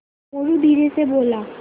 मोरू धीरे से बोला